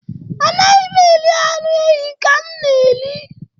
Anaghị m eri anụ ehi ka m na-eri.